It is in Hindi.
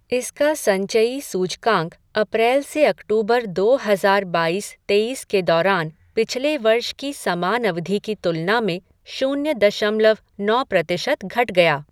इसका संचयी सूचकांक अप्रैल से अक्टूबर दो हज़ार बाइस तेइस के दौरान पिछले वर्ष की समान अवधि की तुलना में शून्य दशमलव नौ प्रतिशत घट गया।